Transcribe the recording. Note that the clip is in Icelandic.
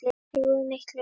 Þeir voru miklir.